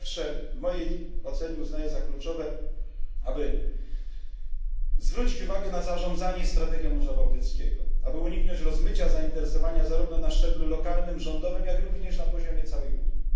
Po pierwsze, w mojej ocenie uznaję za kluczowe, aby zwrócić uwagę na zarządzanie strategią Morza Bałtyckiego, aby uniknąć rozmycia zainteresowania zarówno na szczeblu lokalnym, rządowym, jak również na poziomie całej Unii.